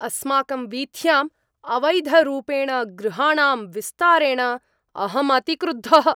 अस्माकं वीथ्याम् अवैधरूपेण गृहाणां विस्तारणेन अहम् अतिक्रुद्धः।